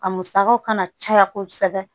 A musakaw kana caya kosɛbɛ